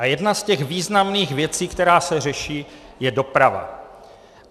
A jedna z těch významných věcí, která se řeší, je doprava.